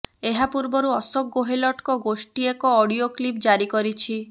ଏହା ପୂର୍ବରୁ ଅଶୋକ ଗେହଲଟଙ୍କ ଗୋଷ୍ଠୀ ଏକ ଅଡିଓ କ୍ଲିପ ଜାରି କରିଛି